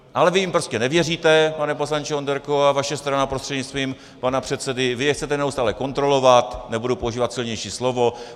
Ale vy jim prostě nevěříte, pane poslanče Onderko, a vaše strana, prostřednictvím pana předsedy, vy je chcete neustále kontrolovat, nebudu používat silnější slovo.